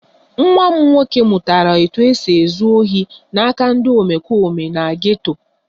Nwa m nwoke mụtara otú e si ezu ohi n'aka ndị omempụ na geto